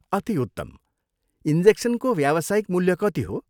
अति उत्तम। इन्जेक्सनको व्यावसायिक मूल्य कति हो?